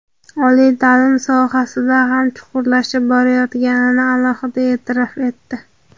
oliy ta’lim sohasida ham chuqurlashib borayotganini alohida e’tirof etdi.